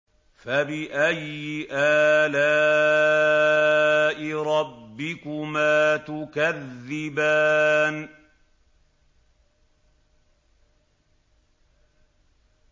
فَبِأَيِّ آلَاءِ رَبِّكُمَا تُكَذِّبَانِ